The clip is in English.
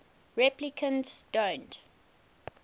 replicants don't